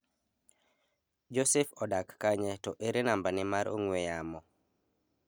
Joseph odak kanye to ere nambane mar ong'ue yamo.